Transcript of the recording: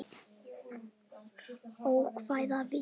Ókvæða við